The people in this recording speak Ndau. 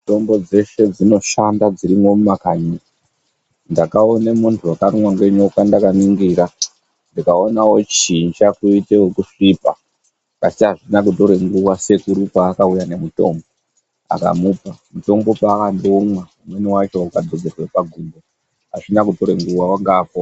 Mitombo dzeshe dzinoshanda dzirimo mumakanyi, ndakaone muntu wakarumwe nenyoka ndakaningira ndikaone wochinja kuite wokusvipa asi azvina kutore nguwa sekuru paakauya nemutombo akamupa, mutombo paakangoumwa umweni wacho ukadzodzerwe pagumbo azvina kutora nguwa wanga apora.